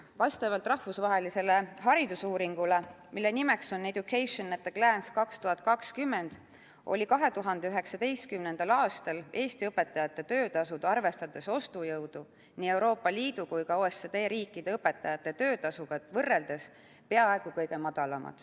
Vastavalt rahvusvahelisele haridusuuringule, mille nimeks on "Education at a Glance 2020", oli 2019. aastal Eesti õpetajate töötasu, arvestades ostujõudu, nii Euroopa Liidu kui ka OECD riikide õpetajate töötasuga võrreldes peaaegu kõige madalam.